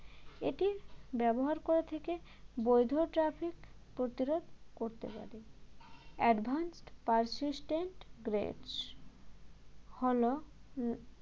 এটি ব্যবহার করে থাকে বৈধ traffic প্রতিরোধ করতে হবে advanced persistent threat হল হম